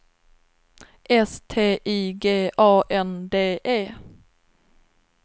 S T I G A N D E